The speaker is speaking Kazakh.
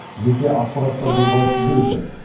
жеке ақпараттардың қауіпсіздігі ше